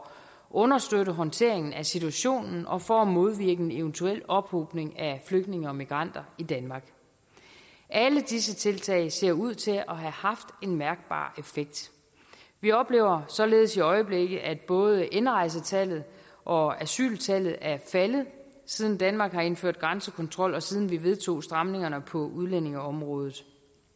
understøtte håndteringen af situationen og for at modvirke en eventuel ophobning af flygtninge og migranter i danmark alle disse tiltag ser ud til at have haft en mærkbar effekt vi oplever således i øjeblikket at både indrejsetallet og asyltallet er faldet siden danmark indførte grænsekontrol og siden vi vedtog stramningerne på udlændingeområdet